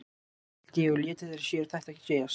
Svo mælti ég og létu þeir sér þetta segjast.